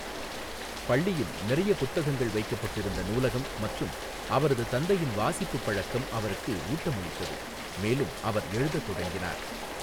பள்ளியில் நிறைய புத்தகங்கள் வைக்கப்பட்டிருந்த நூலகம் மற்றும் அவரது தந்தையின் வாசிப்புப் பழக்கம் அவருக்கு ஊட்டமளித்தது, மேலும் அவர் எழுதத் தொடங்கினார்.